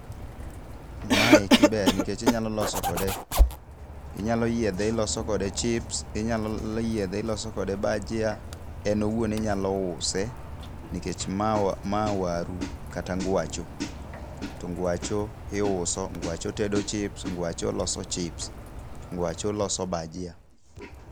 Maeki ber nikech inyalo loso kode inyalo yiedhe iloso kode chips inyalo yiedhe iloso kode bajia. En owuon inyalo use nikech ma waru kata ngwacho. To ngwacho iuso, ngwacho tedo chips, ngwacho loso chips, ngwacho loso bajia.